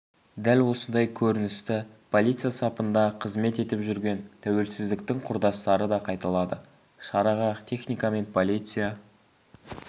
дәл осындай көріністі полиция сапында қызмет етіп жүрген тәуелсіздіктің құрдастары да қайталады шараға техника мен полиция